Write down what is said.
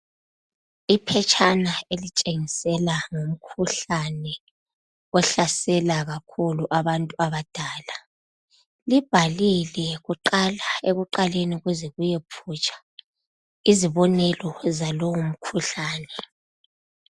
Iphetshana elitshengisela ngomkhuhlane ohlasela kakhulu abantu abadala, libhallile kuqala, ekuqaleni kuze kuyephutsha izibonelo zalowo mkhuhlane.